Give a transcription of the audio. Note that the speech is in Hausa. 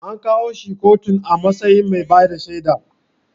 An kawo shi kotun a matsayin mai bada shaida